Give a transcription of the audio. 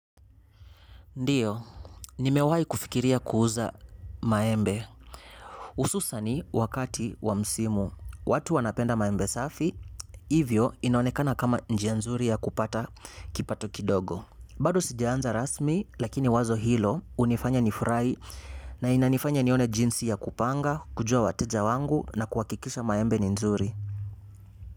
Ndiyo nimewa kufikiria kuuza maembe Ususa ni wakati wa msimu. Watu wanapenda maembe safi, hivyo inaonekana kama njianzuri ya kupata kipato kidogo. Bado sijaanza rasmi, lakini wazo hilo unifanya nifurai na inanifanya nione jinsi ya kupanga nijue wataja wangu na kuwakikisha maembe ni nzuri.